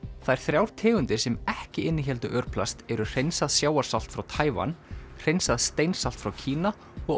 þær þrjár tegundirnar sem ekki innihéldu örplast eru hreinsað sjávarsalt frá Taívan hreinsað frá Kína og